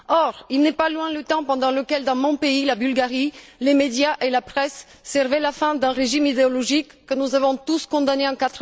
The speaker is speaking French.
Or, il n'est pas loin le temps où, dans mon pays, la Bulgarie, les médias et la presse servaient les fins d'un régime idéologique que nous avons tous condamné en